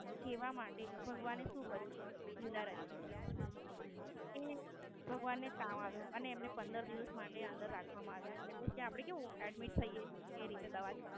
કેવા માટે ભગવાને કેવું કર્યું ખબર? લીલા રચી. એ ભગવાન ને તાવ આવ્યો અને એમને પંદર દિવસ અંદર રાખવામાં આવ્યું. એટલે કે આપડે કેમ Admit થઈયે એ રીતે દવા ચાલુ